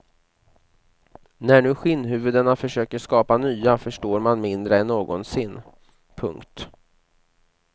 När nu skinnhuvudena försöker skapa nya förstår man mindre än någonsin. punkt